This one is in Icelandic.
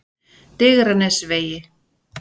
Digranesvegi